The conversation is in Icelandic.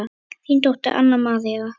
Þín dóttir Anna María.